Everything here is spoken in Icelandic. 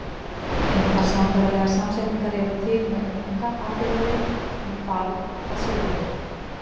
Engar sambærilegar samsetningar eru til með unga- að fyrri lið en barn að síðari lið.